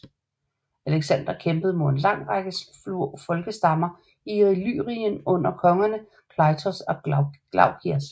Alexander kæmpede mod en lang række små folkestammer i Illyrien under kongerne Kleitos og Glaukias